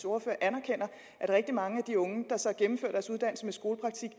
ordfører anerkender at rigtig mange af de unge der så gennemfører deres uddannelse med skolepraktik